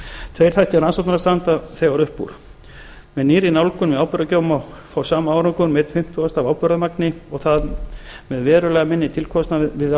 tveir þættir rannsóknanna standa þegar upp úr með nýrri nálgun við áburðargjöf má fá sama árangur með einum fimmtugasta af áburðarmagni og það með verulega minni tilkostnaði við